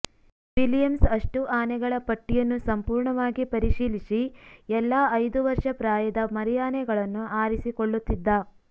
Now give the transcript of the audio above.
Williams ಅಷ್ಟೂ ಆನೆಗಳ ಪಟ್ಟಿಯನ್ನು ಸಂಪೂರ್ಣವಾಗಿ ಪರಿಶೀಲಿಸಿ ಎಲ್ಲಾ ಐದು ವರ್ಷ ಪ್ರಾಯದ ಮರಿಯಾನೆಗಳನ್ನು ಆರಿಸಿಕೊಳ್ಳುತ್ತಿದ್ದ